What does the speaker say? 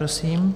Prosím.